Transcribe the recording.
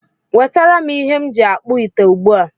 Wetaram ihe m ji akpu ite ugbu a!